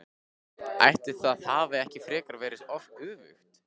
Ætli það hafi ekki frekar verið öfugt!